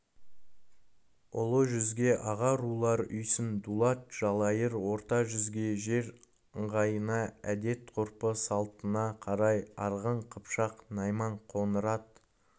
ұлы жүзге аға рулар үйсін дулат жалайыр орта жүзге жер ыңғайына әдет-ғұрпы салтына қарай арғын қыпшақ найман қоңырат